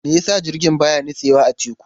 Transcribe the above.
Me yasa jirgi baya nutsewa a teku?